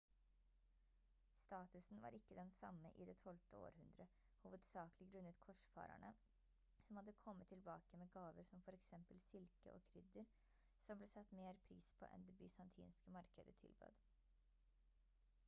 statusen var ikke den samme i det 12. århundre hovedsakelig grunnet korsfarerne som hadde kommet tilbake med gaver som for eksempel silke og krydder som ble satt mer pris på enn det bysantinske markeder tilbød